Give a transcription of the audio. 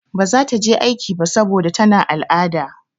Ba za ta je aiki ba saboda tana al'ada.